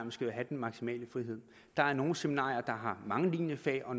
skal have den maksimale frihed der er nogle seminarier der har mange linjefag og